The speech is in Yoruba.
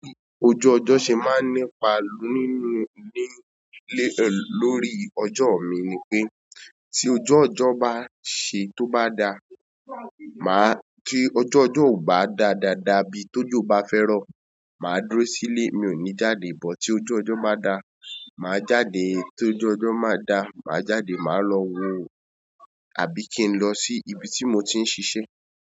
Ojú ọjọ́ ṣe máa ń nípa nínú nílé lórí ọjọ́ mi ni pé tí ojú ọjọ́ bá ṣe tó bá da, màá kí ojú ọjọ́ ò bá dáa dada bí tójo bá fẹ́ro, màá dúró sílé, mi ò ní jáde. Bọ tí ojú ọjọ́ báa da, màá jáde. Tí ojú ọjọ́ máa da, màá jáde, màá lọ wo àbí kí n lọ sí ibi tí mo ti ń ṣiṣẹ́.